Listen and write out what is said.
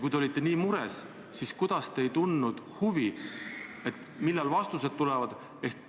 Kui te olite nii mures, siis miks te ei tundnud huvi, millal vastus tuleb?